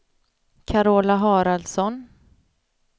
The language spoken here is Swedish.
Carola Haraldsson